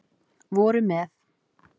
voru með